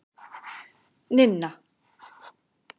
Ninna